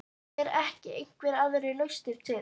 Eru ekki einhverjar aðrar lausnir til?